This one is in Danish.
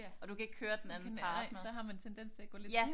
Ja. Og man kan ikke nej så har man tendens til at gå lidt hen